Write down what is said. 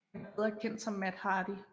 Han er bedre kendt som Matt Hardy